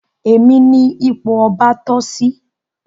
Èmi ní ipò ọba toh sí